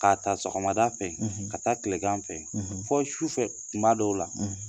Ka taa sɔgɔmada fɛ ka taa kilegan fɛ fɔ su fɛ kuma dɔw la